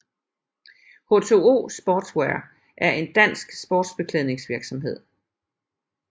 H2O Sportswear er en dansk sportsbeklædningsvirksomhed